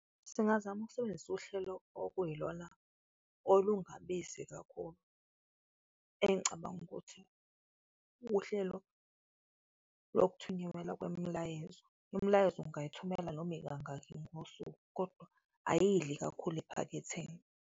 Singazama ukusebenzisa uhlelo okuyilona olungabizi kakhulu, engicabanga ukuthi uhlelo lokuthunyekelwa kwemilayezo. Imilayezo ungayithumela noma ikangaki ngosuku kodwa ayidli kakhulu ephaketheni.